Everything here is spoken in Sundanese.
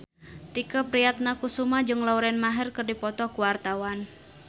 Tike Priatnakusuma jeung Lauren Maher keur dipoto ku wartawan